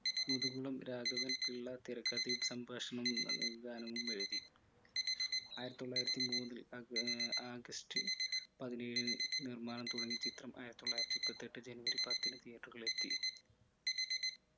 മുതുകുളം രാഘവൻ പിള്ള തിരക്കഥയും സംഭാഷണവും ഏർ ഗാനവും എഴുതി ആയിരത്തിത്തൊള്ളായിരത്തി മൂന്നിൽ ആഹ് ആഗസ്ത് പതിനേഴു നിർമാണം തുടങ്ങിയ ചിത്രം ആയിരത്തിത്തൊള്ളായിരത്തി മുപ്പത്തെട്ട് ജനുവരി പത്തിന് theatre കളിൽ എത്തി